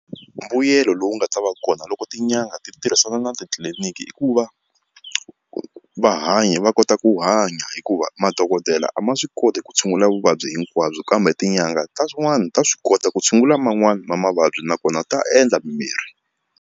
Mbuyelo lowu nga ta va kona loko tin'anga ti tirhisana na titliliniki i ku va va hanya va kota ku hanya hikuva madokodela a ma swi koti ku tshungula vuvabyi hinkwabyo kambe tin'anga ta swin'wana ta swi kota ku tshungula man'wani ma mavabyi nakona ta endla mimirhi.